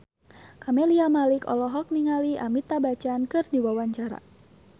Camelia Malik olohok ningali Amitabh Bachchan keur diwawancara